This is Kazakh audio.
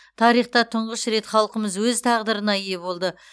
тарихта тұңғыш рет халқымыз өз тағдырына ие болды